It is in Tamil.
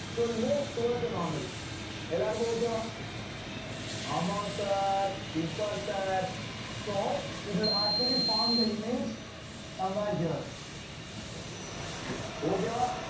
so it will move towards the normal எல்லாருக்கும் okay வா ஆமா sir super sir so it will actually form the image somewhere here okay வா